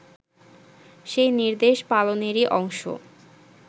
সেই নির্দেশ পালনেরই অংশ